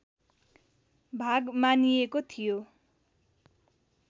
भाग मानिएको थियो